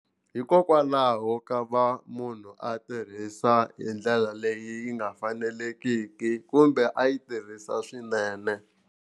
Hikokwalaho ko va munhu a tirhisa hi ndlela leyi nga faneleriki kumbe a yi tirhisa swinene.